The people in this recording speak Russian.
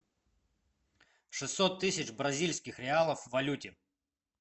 шестьсот тысяч бразильских реалов в валюте